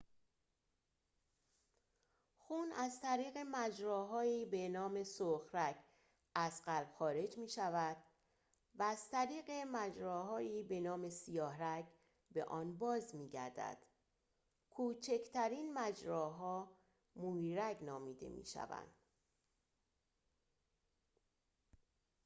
خون از طریق مجراهایی با نام سرخ‌رگ از قلب خارج می‌شود و از طریق مجراهایی با نام سیاه‌رگ به آن باز می‌گردد کوچکترین مجراها مویرگ نامیده می‌شوند